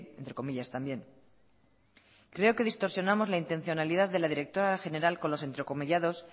entre comillas también creo que distorsionamos la intencionalidad de la directora general con los entrecomillados